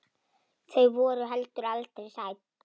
Þau voru heldur aldrei hrædd.